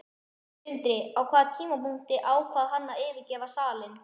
Sindri: Á hvaða tímapunkti ákvað hann að yfirgefa salinn?